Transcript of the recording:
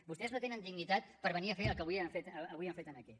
vostès no tenen dignitat per venir a fer el que avui han fet aquí